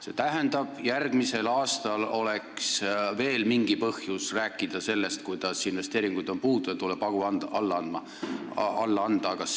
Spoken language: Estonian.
See tähendab, et järgmisel aastal oleks veel mingi põhjus rääkida sellest, kuidas investeeringuid on puudu ja tuleb hagu alla anda.